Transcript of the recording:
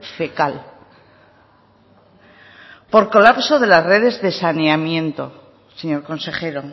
fecal por colapso de las redes de saneamiento señor consejero